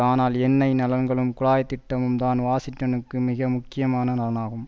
ஆனால் எண்ணெய் நலன்களும் குழாய் திட்டமும் தான் வாஷிங்டனுக்கு மிகவும் முக்கியமான நலனாகும்